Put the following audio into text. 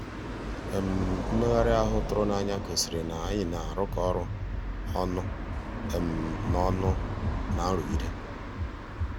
mmèghàrị́ ahụ́ tụ̀rụ̀ n'ànyá gosìrí ná ànyị́ ná-àrụ́kọ ọ́rụ́ ọnụ́ ná ọnụ́ ná nrụ̀gídé.